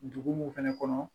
Dugu mun fɛnɛ kɔnɔ